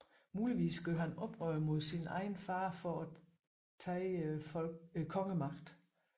Muligvis gjorde han oprør mod sin egen fader for at tage kongemagten